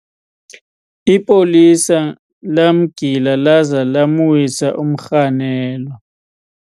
ipolisa lamgila laza lamwisa umrhanelwa